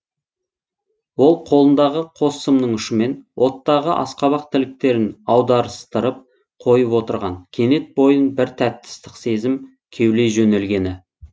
ол қолындағы қос сымның ұшымен оттағы асқабақ тіліктерін аударыстырып қойып отырған кенет бойын бір тәтті ыстық сезім кеулей жөнелгені